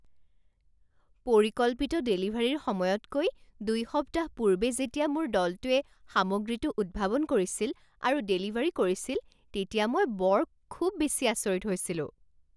পৰিকল্পিত ডেলিভাৰীৰ সময়তকৈ দুই সপ্তাহ পূৰ্বে যেতিয়া মোৰ দলটোৱে সামগ্ৰীটো উদ্ভাৱন কৰিছিল আৰু ডেলিভাৰী কৰিছিল তেতিয়া মই বৰ খুব বেছি আচৰিত হৈছিলোঁ।